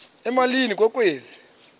emalini ke kwezi